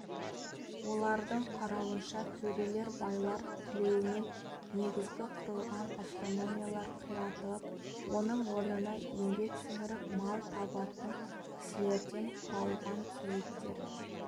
олардың қарауынша төрелер байлар тілеуімен негізгі құрылған автономиялар қиратылып оның орнына еңбек сіңіріп мал табатын кісілерден құралған советтер